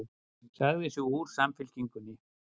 Sagði sig úr Samfylkingunni